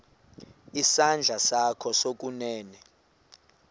isandla sakho sokunene